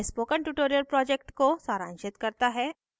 यह spoken tutorial project को सारांशित करता है